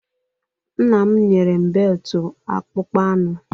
Nna m nyere m beltụ akpụkpọ anụ.